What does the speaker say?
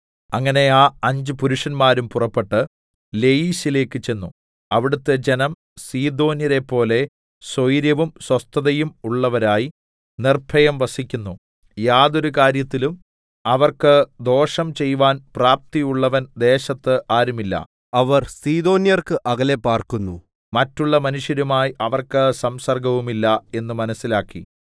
അങ്ങനെ ആ അഞ്ച് പുരുഷന്മാരും പുറപ്പെട്ട് ലയീശിലേക്കു ചെന്നു അവിടത്തെ ജനം സീദോന്യരെപ്പോലെ സ്വൈരവും സ്വസ്ഥതയും ഉള്ളവരായി നിർഭയം വസിക്കുന്നു യാതൊരു കാര്യത്തിലും അവർക്ക് ദോഷം ചെയ്‌വാൻ പ്രാപ്തിയുള്ളവൻ ദേശത്ത് ആരുമില്ല അവർ സീദോന്യർക്ക് അകലെ പാർക്കുന്നു മറ്റുള്ള മനുഷ്യരുമായി അവർക്ക് സംസർഗ്ഗവുമില്ല എന്ന് മനസ്സിലാക്കി